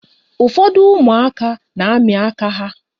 Ụfọdụ ụmụaka na-amị aka ha.